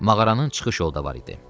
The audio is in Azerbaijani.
Mağaranın çıxış yolu da var idi.